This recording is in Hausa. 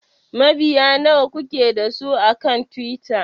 Mabiya nawa kuke da su akan Twitter?